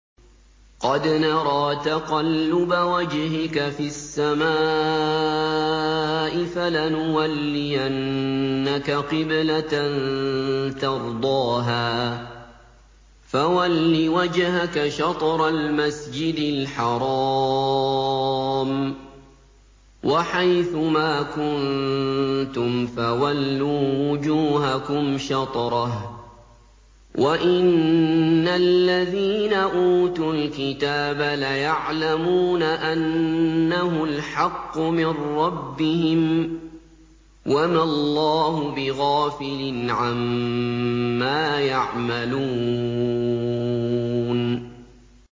قَدْ نَرَىٰ تَقَلُّبَ وَجْهِكَ فِي السَّمَاءِ ۖ فَلَنُوَلِّيَنَّكَ قِبْلَةً تَرْضَاهَا ۚ فَوَلِّ وَجْهَكَ شَطْرَ الْمَسْجِدِ الْحَرَامِ ۚ وَحَيْثُ مَا كُنتُمْ فَوَلُّوا وُجُوهَكُمْ شَطْرَهُ ۗ وَإِنَّ الَّذِينَ أُوتُوا الْكِتَابَ لَيَعْلَمُونَ أَنَّهُ الْحَقُّ مِن رَّبِّهِمْ ۗ وَمَا اللَّهُ بِغَافِلٍ عَمَّا يَعْمَلُونَ